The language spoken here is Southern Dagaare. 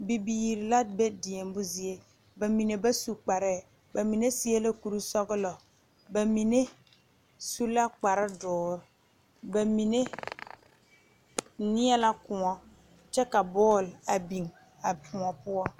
Bibiiri la be deɛmo zie bamine ba su kparre bamine seɛ la kuri sɔglɔ bamine su la kpare doɔre bamine nie la kõɔ kyɛ ka bɔl a biŋ a kõɔ poɔ.